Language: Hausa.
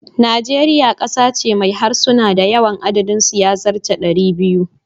Nigeria kasa ce mai harsuna da yawan adadin su ya zarce 200.